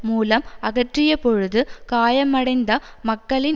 மூலம் அகற்றியபொழுது காயமடைந்த மக்களின்